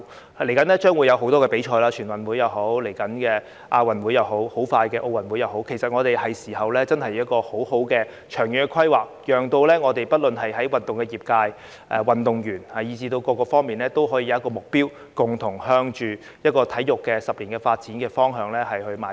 多項賽事即將舉行，包括全運會、亞運會，以及很快又再舉行的奧運會，其實現在是時候好好作出長遠規劃，讓不論運動業界、運動員以至各界都可以有一個目標，共同朝着10年的體育發展方向邁進。